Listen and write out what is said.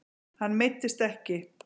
Hann meiddist ekki.